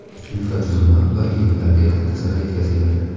infratuzilma va ekinlarga katta zarar yetkazgandi.